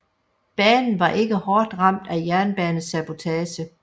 Banen var ikke hårdt ramt af jernbanesabotage